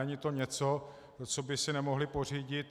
Není to něco, co by si nemohli pořídit.